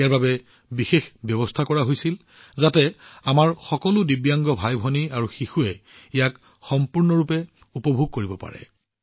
ইয়াৰ বাবে বিশেষ ব্যৱস্থা কৰা হৈছিল যাতে আমাৰ সকলো দিব্যাংগ ভাইভনী আৰু শিশুৱে ইয়াক সম্পূৰ্ণৰূপে উপভোগ কৰিব পাৰে